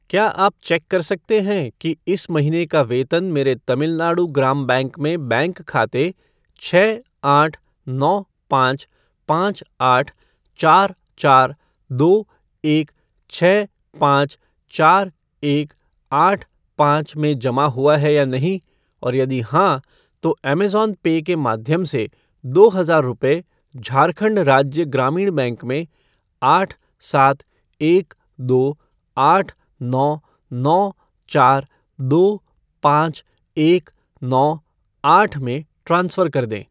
क्या आप चेक कर सकते हैं कि इस महीने का वेतन मेरे तमिल नाडु ग्राम बैंक में बैंक खाते छः आठ नौ पाँच पाँच आठ चार चार दो एक छः पाँच चार एक आठ पाँच में जमा हुआ है या नहीं और यदि हाँ, तो ऐमेज़ॉन पे के माध्यम से दो हज़ार रुपये झारखण्ड राज्य ग्रामीण बैंक में आठ सात एक दो आठ नौ नौ चार दो पाँच एक नौ आठ में ट्रांसफ़र कर दें।